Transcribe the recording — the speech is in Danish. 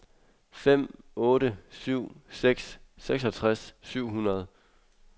fem otte syv seks seksogtres syv hundrede